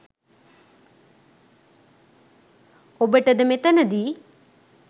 ඔබට ද මෙතනදී